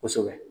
Kosɛbɛ